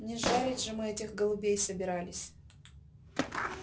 не жарить же мы этих голубей собирались